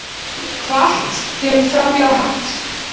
Hvatt til framhjáhalds